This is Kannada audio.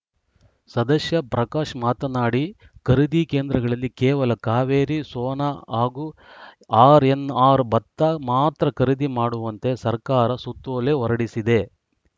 ಸದಸ್ಯ ಪ್ರಕಾಶ್‌ ಮಾತನಾಡಿ ಖರೀದಿ ಕೇಂದ್ರಗಳಲ್ಲಿ ಕೇವಲ ಕಾವೇರಿ ಸೋನ ಹಾಗೂ ಆರ್‌ಎನ್‌ಆರ್‌ ಭತ್ತ ಮಾತ್ರ ಖರೀದಿ ಮಾಡುವಂತೆ ಸರ್ಕಾರ ಸುತ್ತೋಲೆ ಹೊರಡಿಸಿದೆ